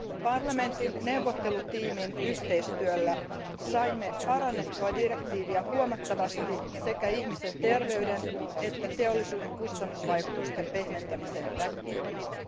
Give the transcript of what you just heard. Parlamentin neuvottelutiimin yhteistyöllä saimme parannettua direktiiviä huomattavasti sekä ihmisen terveyden että teollisuuden kustannusvaikutusten pehmentämisen näkökulmasta.